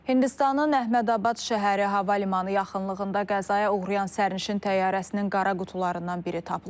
Hindistanın Əhmədabad şəhəri hava limanı yaxınlığında qəzaya uğrayan sərnişin təyyarəsinin qara qutularından biri tapılıb.